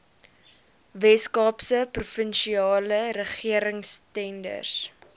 weskaapse provinsiale regeringstenders